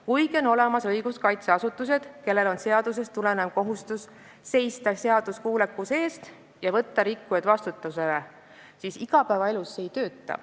Kuigi on olemas õiguskaitseasutused, kellel on seadusest tulenev kohustus seista seaduskuulekuse eest ja võtta rikkujad vastutusele, siis igapäevaelus see asi ei tööta.